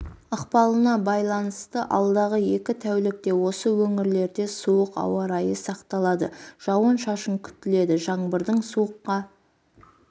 ықпалына байланысты алдағы екі тәулікте осы өңірлерде суық ауа райы сақталады жауын-шашын күтіледі жаңбырдың суыққа